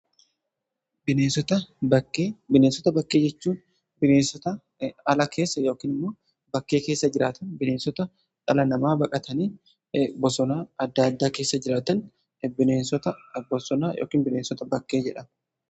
bineensota bakkee jechuun bineensota ala keessa ykn immoo bakkee keessa jiraatan bineensota dhala namaa baqatanii bosonaa adda addaa keessa jiraatan bineensota bakkee jedhamu.